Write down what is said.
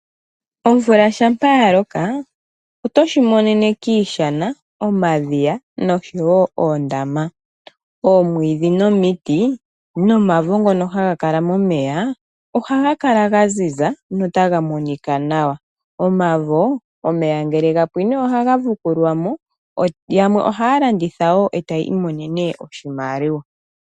Omvula shampa yaloka otoshi monene kiishana, omadhiya noshoyo oondama, omwiidhi nomitii, nomavo ngono haga kala momeya ohaga kala gaziza notaga monika nawa. Omavoo, omeya ngele gapwiine ohaga vukulwamo, yamwe ohaya landitha woo eta yi imonene iimaliwa.